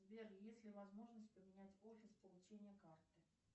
сбер есть ли возможность поменять офис получения карты